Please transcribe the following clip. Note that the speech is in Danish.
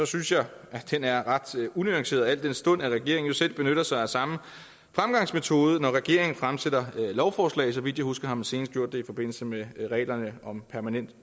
synes jeg at den er ret unuanceret al den stund at regeringen jo selv benytter sig af samme fremgangsmetode når regeringen fremsætter lovforslag så vidt jeg husker har man senest gjort det i forbindelse med reglerne om permanent